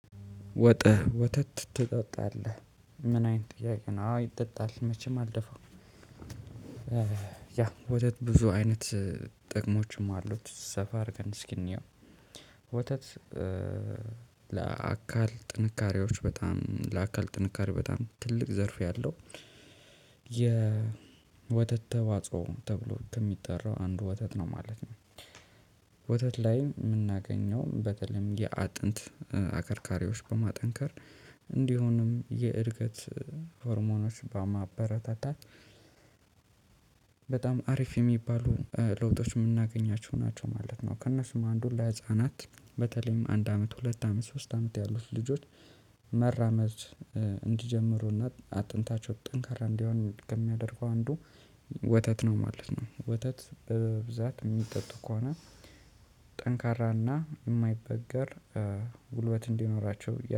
ወጠህ ወተት ትጠጣለህ ምን አይነት ጥያቄ ነው? አዎ ይጠጣል መቼም አልደፋም። ወተት ብዙ አይነት ጥቅሞችም አሉት ሰፋ አድርገን እስኪ እንየው። ወተት ለአካል ጥንካሬዎች በጣም ለአካል ጥንካሬ በጣም ትልቅ ዘርፍ ያለው የ ወተት ተዋጽኦ ተብሎ ከሚጠራው አንዱ ወተት ነው ማለት ነው። ወተት ላይ የምናገኘው በተለይም የአጥንት አከርካሪዎች በማጠንከር እንዲሁኑም የእድገት ሆርሞኖች በማበረታታት በጣም አሪፍ የሚባሉ ለውጦች የምናገኛቸው ናቸው ማለት ነው። ከእነሱም አንዱ ለህፃናት በተለይም አንድ አመት ሁለት አመት ሶስት አመት ያሉት ልጆች መራመድ እንዲጀምሩና አጥንታቸው ጠንካራ እንዲሆን ከሚያደርገው አንዱ ወተት ነው ማለት ነው። ወተት በብዛት የሚጠጡ ከሆነ ጠንካራና የማይበገር ጉልበት እንዲኖራቸው